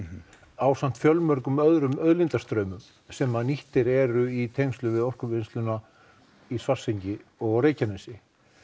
ásamt fjölmörgum öðrum auðlindum sem nýttar eru í tengslum við orkuvinnsluna í Svartsengi og á Reykjanesi